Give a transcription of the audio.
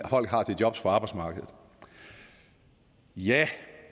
folk har til jobs på arbejdsmarkedet ja